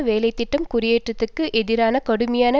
வேலை திட்டம் குடியேற்றத்திற்கு எதிரான கடுமையான